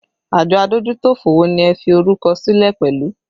Àjọ adójútòfò wo ni ẹ fi orúkọ sílẹ̀ pẹ̀lú?